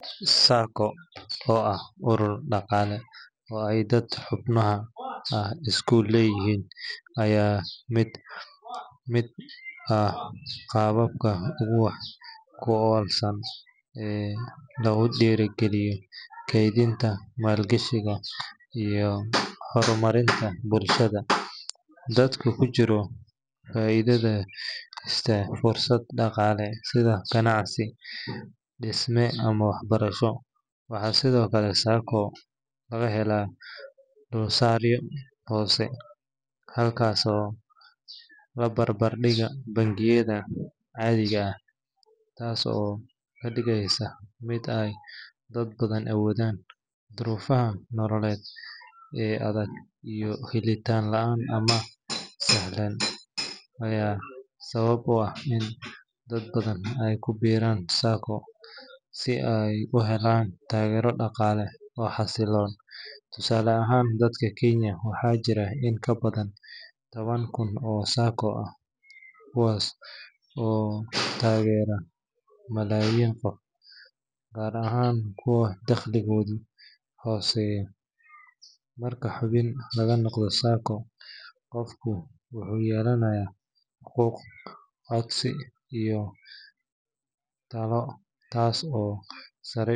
SACCO oo ah urur dhaqaale oo ay dadka xubnaha ah iska leeyihiin ayaa ah mid ka mid ah qaababka ugu wax ku oolsan ee lagu dhiirrigeliyo kaydinta, maalgashiga iyo horumarinta bulshada. Dadka ku jira SACCO waxay si iskood ah u dhistaan urur ay lacag ku keydsadaan, kadibna ka helaan amaah si ay uga faa’iidaystaan fursado dhaqaale sida ganacsi, dhisme ama waxbarasho. Waxaa sidoo kale SACCO laga helaa dulsaaryo hoose marka la barbar dhigo bangiyada caadiga ah, taas oo ka dhigaysa mid ay dad badan awoodaan. Duruufaha nololeed ee adag iyo helitaan la’aanta amaah sahlan ayaa sabab u ah in dad badan ay ku biiraan SACCO si ay u helaan taageero dhaqaale oo xasiloon. Tusaale ahaan, dalka Kenya waxaa jira in ka badan toban kun oo SACCOs ah kuwaas oo taageera malaayiin qof, gaar ahaan kuwa dakhligoodu hooseeyo. Marka xubin laga noqdo SACCO, qofku wuxuu yeelanayaa xuquuq cod iyo talo, taas oo sare.